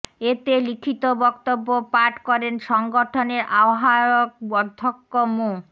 এতে লিখিত বক্তব্য পাঠ করেন সংগঠনের আহ্বায়ক অধ্যক্ষ মো